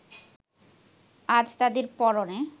আজ তাদের পরনে